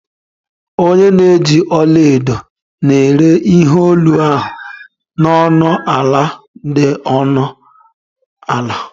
Onye na-eji ọla edo na-ere ihe olu ahụ na ọnụ ala dị ọnụ ala